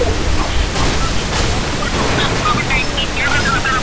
ਅੜਿਆ ਜਿਹੜਾ